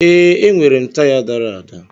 Ee, enwere m taya dara ada